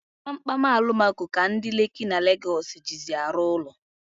Kpamkpam alumako ka ndi Leki na Legosi jizi arụ ụlọ